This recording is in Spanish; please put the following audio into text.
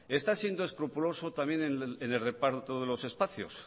está siendo escrupuloso también en el reparto de los espacios